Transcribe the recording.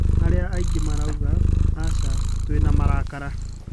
Arĩa angĩ maraiga ,Asa, twĩna marakara!